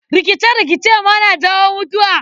Rikice-rikice ma na jawo mutuwa.